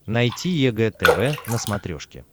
найти егэ тв на смотрешке